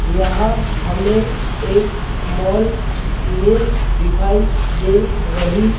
यहां हमें एक मॉल उम मिल दिखाई दे रही--